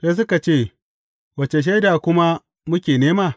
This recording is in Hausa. Sai suka ce, Wace shaida kuma muke nema?